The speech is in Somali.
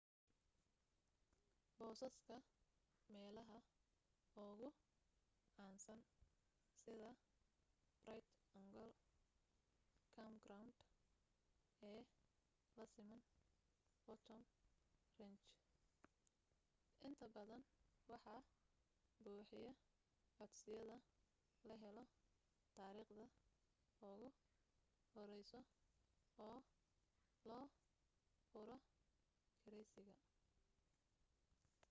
boosaska meelaha ugu caansan sida bright angel campground ee lasiman phantom ranch intabadan waxaa buuxiya codsiyada la helo taarikhda ugu horeyso oo loo furo kireysiga